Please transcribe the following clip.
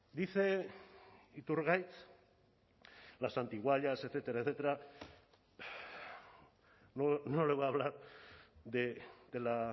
dice iturgaiz las antiguallas etcétera etcétera no le voy a hablar de la